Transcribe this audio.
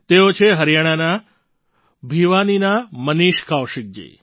તેઓ છે હરિયાણાના ભિવાનીના મનીષ કૌશિકજી